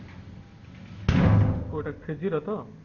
ହଁ କୋଉଟା three G ର ତ